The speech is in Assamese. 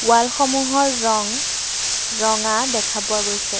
ৱাল সমূহৰ ৰং ৰঙা দেখা পোৱা গৈছে।